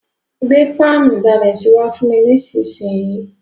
Gbé pánù ìdalẹ̀sí wa fùn mi nísinsìn yi